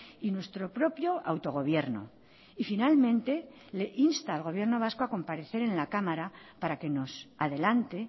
y nuestro propio autogobierno y finalmente le insta al gobierno vasco a comparecer en la cámara para que nos adelante